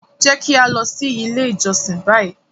Jẹ ki a lọ si ile ijọsin bayi!